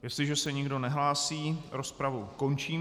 Jestliže se nikdo nehlásí, rozpravu končím.